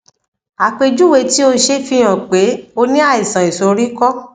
àpèjúwe tí o ṣe fihàn pé o ní àìsàn ìsoríkọ